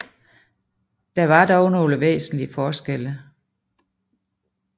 Der var dog nogle væsentlige forskelle